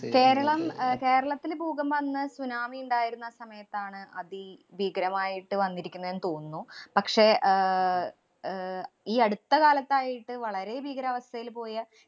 കേരളം അഹ് കേരളത്തില് ഭൂകമ്പം അന്ന് സുനാമി ഇണ്ടായിരുന്ന സമയത്താണ് അതി ഭീകരമായിട്ട് വന്നിരിക്കുന്നെന്ന് തോന്നുന്നു. പക്ഷേ ആഹ് അഹ് ഈ അടുത്ത കാലത്തായിട്ടു വളരെ ഭീകരവസ്ഥേല് പോയ